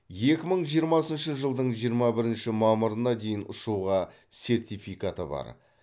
екі мың жиырмасыншы жылдың жиырма бірінші мамырына дейін ұшуға сертификаты бар